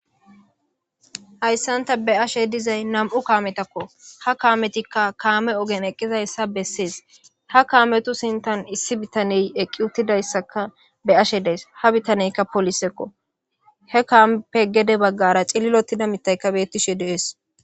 Hayssan ta beashe dizay nam7u kametakko ha kaametikka kaame ogen eqqizayssa bessees ha kaametu sintan issi bitaney eqqi uttidayssaka beashe de7ays ha bitaneykka polisekko he kaampe gede baggara cililotida mitayka bettishe de7es.